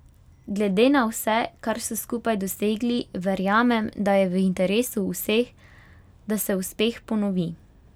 Glede na vse, kar so skupaj dosegli, verjamem, da je v interesu vseh, da se uspeh ponovi.